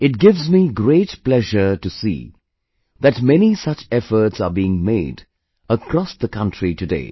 It gives me great pleasure to see that many such efforts are being made across the country today